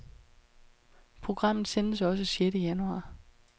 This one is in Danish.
Programmet sendes også sjette januar.